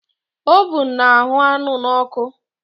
Ovun na-ahụ́ anụ n'ọkụ